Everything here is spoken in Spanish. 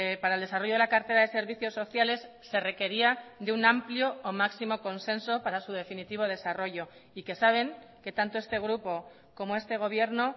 para el desarrollo de la cartera de servicios sociales se requería de un amplío o máximo consenso para su definitivo desarrollo y que saben que tanto este grupo como este gobierno